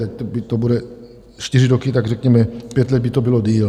Tak to bude čtyři roky, tak řekněme pět let by to bylo déle.